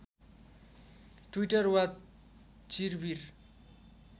Twitter वा चिर्विर